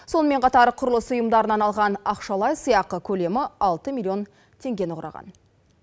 сонымен қатар құрылыс ұйымдарынан алған ақшалай сыйақы көлемі алты миллион теңгені құраған